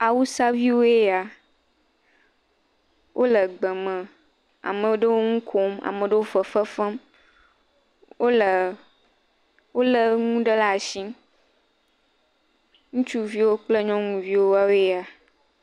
Awusaviwoe ya, wole gbe me, ame ɖewo le nu kom ame ɖewo le fefe fem, wole wolé nuɖe le atsi, ŋutsuviwo kple nyɔnuviwo ya.